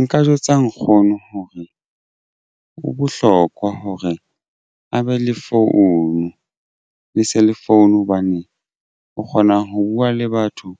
Nka jwetsa nkgono hore ho bohlokwa hore a be le phone le cell phone hobane o kgona ho buwa le batho